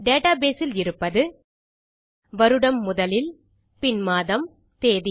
database இல் இருப்பது வருடம் முதலில் பின் மாதம் தேதி